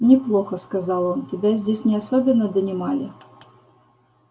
неплохо сказал он тебя здесь не особенно донимали